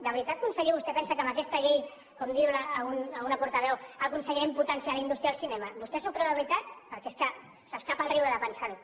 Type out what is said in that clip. de veritat conseller vostè pensa que amb aquesta llei com diu alguna portaveu aconseguirem potenciar la indústria del cinema vostè s’ho creu de veritat perquè és que s’escapa el riure de pensar ho